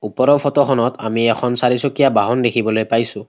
ওপৰৰ ফটো খনত আমি এখন চাৰিচকীয়া বাহন দেখিবলৈ পাইছোঁ।